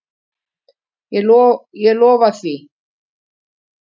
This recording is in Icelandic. Ég lofa því.